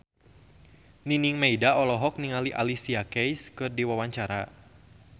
Nining Meida olohok ningali Alicia Keys keur diwawancara